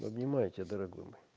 обнимаю тебя дорогой мой